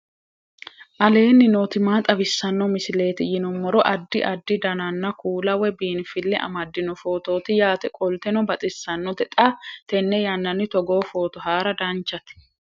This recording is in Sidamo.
aleenni nooti maa xawisanno misileeti yinummoro addi addi dananna kuula woy biinfille amaddino footooti yaate qoltenno baxissannote xa tenne yannanni togoo footo haara danchate